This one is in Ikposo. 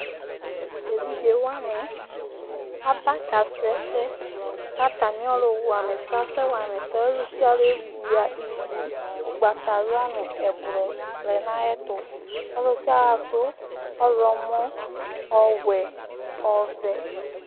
Tevidzewani aba kasʋɛsɛ, kʋ atami ɔlʋwamaɛsɛ asɛ wama ɛsɛ Ɔlʋ sia ɔlʋ ewia ivu ʋgbatawla nʋ ɛblɔ lɛnʋ ayʋ ɛtʋ alʋ sia ɔlʋ adʋ ɔwlɔmɔ, ɔwɛ, ɔvɛ